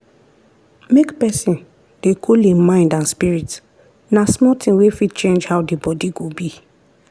make pesin dey cool im mind and spirit na small tin wey fit change how d body go be.